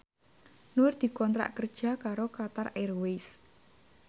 Nur dikontrak kerja karo Qatar Airways